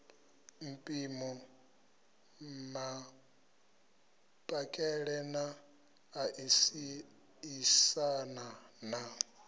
mpimo mapakele na ṋaṋisana na